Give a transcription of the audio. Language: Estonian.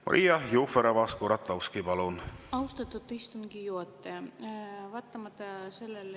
Maria Jufereva-Skuratovski, palun!